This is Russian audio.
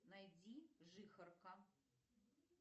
найди жихарка